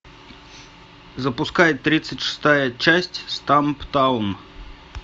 запускай тридцать шестая часть стамптаун